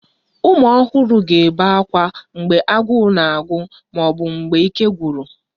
Ụmụ ọhụrụ ga-ebe ákwá mgbe agụụ na-agụ ma ọ bụ ike gwụrụ